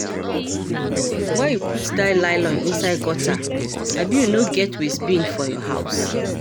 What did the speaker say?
Why you put dat nylon inside gutter abi you no get waste bin for your house?